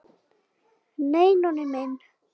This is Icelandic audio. Nei, Nonni minn.